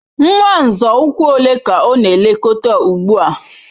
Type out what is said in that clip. Nwa nzọ ụkwụ ole ka ọ na-elekọta ugbu a?